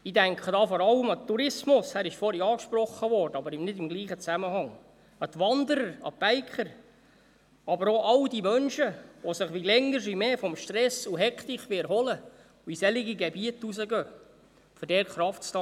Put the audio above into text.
Ich denke da vor allem an den Tourismus – er wurde vorhin angesprochen, wenn auch nicht im gleichen Zusammenhang –, an die Wanderer, an die Biker, aber auch an all die Menschen, die sich je länger je mehr von Stress und Hektik erholen wollen und in solche Gebiete hinausgehen, um dort Kraft zu tanken.